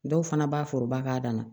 Dɔw fana b'a foroba k'a dana